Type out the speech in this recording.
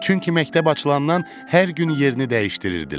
Çünki məktəb açılandan hər gün yerini dəyişdirirdilər.